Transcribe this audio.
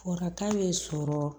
Waraka bɛ sɔrɔ